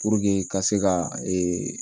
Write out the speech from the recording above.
Puruke ka se ka ee